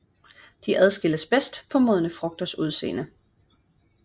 De adskilles bedst på de modne frugters udseende